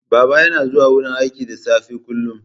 Baba yana zuwa wurin aiki da safe kullum.